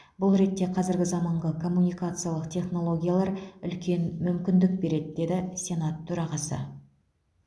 бұл ретте қазіргі заманғы коммункациялық технологиялар үлкен мүмкіндік береді деді сенат төрағасы